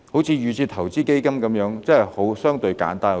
正如預設投資策略成分基金，真的相對簡單得多。